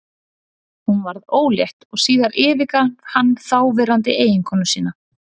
Hún varð ólétt og síðar yfirgaf hann þáverandi eiginkonu sína.